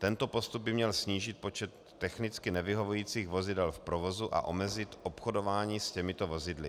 Tento postup by měl snížit počet technicky nevyhovujících vozidel v provozu a omezit obchodování s těmito vozidly.